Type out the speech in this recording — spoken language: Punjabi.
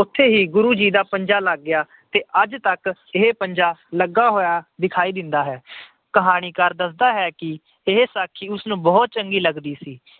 ਉੱਥੇ ਹੀ ਗੁਰੂ ਜੀ ਦਾ ਪੰਜਾ ਲੱਗ ਗਿਆ ਤੇ ਅੱਜ ਤੱਕ ਪੰਜਾ ਲੱਗਾ ਹੋਇਆ ਦਿਖਾਈ ਦਿੰਦਾ ਹੈ। ਕਹਾਣੀਕਾਰ ਦੱਸਦਾ ਹੈ ਕਿ ਇਹ ਸਾਖੀ ਉਸਨੂੰ ਬਹੁਤ ਚੰਗੀ ਲੱਗਦੀ ਸੀ।